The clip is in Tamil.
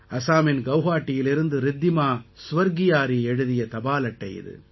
அசாமின் கௌஹாடீயிலிருந்து ரித்திமா ஸ்வர்கியாரி எழுதிய தபால் அட்டை இது